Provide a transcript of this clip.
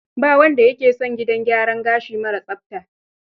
Ba wanda ya ke son gidan gyaran gashi mara tsafta.